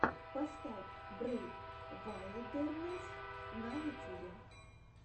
поставь брейв вайлдернесс на ютюбе